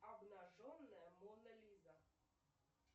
обнаженная мона лиза